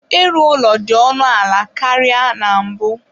Ịrụ ụlọ dị ọnụ ala karịa na mbụ.